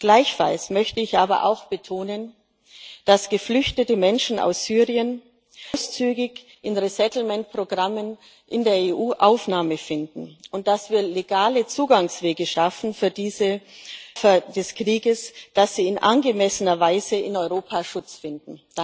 Gleichfalls möchte ich aber auch betonen, dass geflüchtete Menschen aus Syrien großzügig in resettlement Programmen in der EU Aufnahme finden, und dass wir legale Zugangswege für diese Opfer des Krieges schaffen und dass sie in angemessener Weise in Europa Schutz finden.